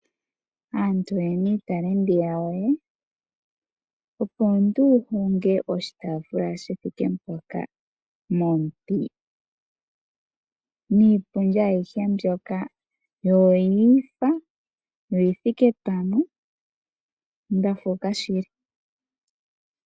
Aantu oye na iitalenti yawo. Opo omuntu wu honge oshitaafula shi thike mpoka momuti niipundi ayihe mbyoka yo oya faathana yo oyi thike pamwe. Onda fuuka shili.